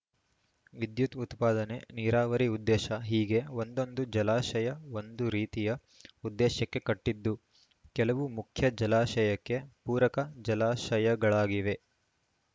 ವಿದ್ಯುತ್‌ ಉತ್ಪಾದನೆ ನೀರಾವರಿ ಉದ್ದೇಶ ಹೀಗೆ ಒಂದೊಂದು ಜಲಾಶಯ ಒಂದು ರೀತಿಯ ಉದ್ದೇಶಕ್ಕೆ ಕಟ್ಟಿದ್ದು ಕೆಲವು ಮುಖ್ಯ ಜಲಾಶಯಕ್ಕೆ ಪೂರಕ ಜಲಾಶಯಗಳಾಗಿವೆ